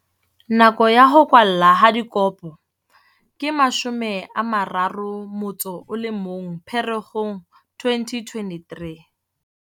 Nako ya ho kwallwa ha dikopo ke 31 Pherekgong 2023.